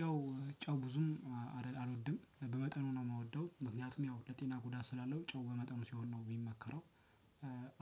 ጨው ጨው ብዙም አልወድም በመጠኑ ነው የምወደው ምክንያቱም ያው ለጤና ጉዳት ስላለው ጨው በመጠኑ ሲሆን ነው የሚመከረው።